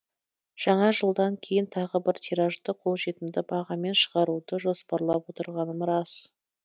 жаңа жылдан кейін тағы бір тиражды қолжетімді бағамен шығаруды жоспарлап отырғаным рас